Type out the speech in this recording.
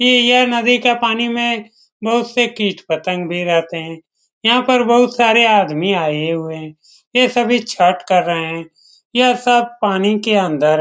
ये यह नदी का पानी में बहुत से किट-पतंग भी रहते हैं यहाँ पर बहुत सारे आदमी आये हुए हैं यह सभी छठा कर रहे हैं यह सब पानी के अंदर हैं ।